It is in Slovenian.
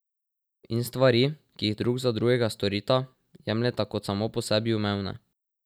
In stvari, ki jih drug za drugega storita, jemljeta kot samo po sebi umevne.